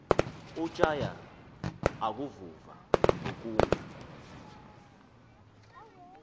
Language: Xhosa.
utjhaya akuvuva ngokunga